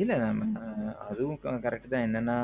இல்ல அதுவும் correct தான் என்னன்னா